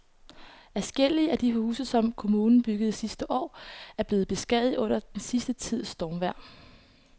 Adskillige af de huse, som kommunen byggede sidste år, er blevet beskadiget under den sidste tids stormvejr.